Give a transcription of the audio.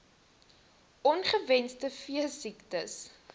on ongewenste veesiektes